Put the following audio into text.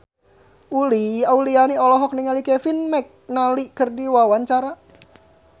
Uli Auliani olohok ningali Kevin McNally keur diwawancara